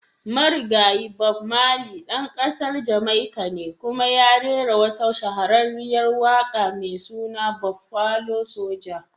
Marigayi. Bob marley dan kasar Jamaica ne kuma ya rera wata shahararriyar waka mai suna "Buffalo soja"."